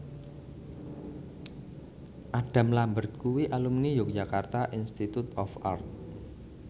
Adam Lambert kuwi alumni Yogyakarta Institute of Art